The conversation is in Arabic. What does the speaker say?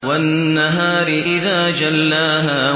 وَالنَّهَارِ إِذَا جَلَّاهَا